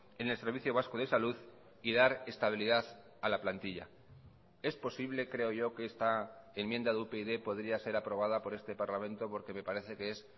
en el servicio vasco de salud y dar estabilidad a la plantilla es posible creo yo que esta enmienda de upyd podría ser aprobada por este parlamento porque me parece que es